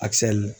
Akisɛli